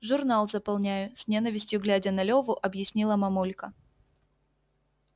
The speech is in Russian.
журнал заполняю с ненавистью глядя на леву объяснила мамулька